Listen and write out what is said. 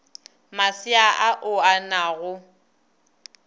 masea ao a na go